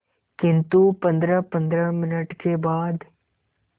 किंतु पंद्रहपंद्रह मिनट के बाद